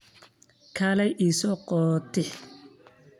Kaaley iisoqotix.